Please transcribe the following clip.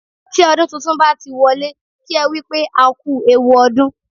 Tí ọdún tuntun bá ti wọlé, kí ẹ wípé, "a kú ewu ọdún."